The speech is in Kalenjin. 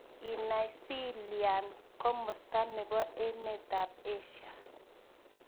Inaisiian komosto ne po emetap Asia